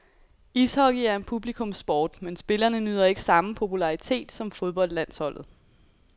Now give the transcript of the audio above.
Ishockey er en publikumssport, men spillerne nyder ikke samme popularitet som fodboldlandsholdet.